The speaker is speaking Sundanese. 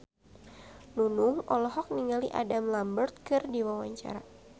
Nunung olohok ningali Adam Lambert keur diwawancara